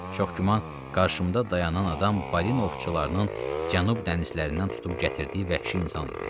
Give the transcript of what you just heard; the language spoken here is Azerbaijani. Çox güman, qarşımda dayanan adam balinovçularının Cənub dənizlərindən tutub gətirdiyi vəhşi insan idi.